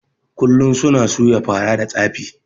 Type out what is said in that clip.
Kullun suna suya fara da tsafi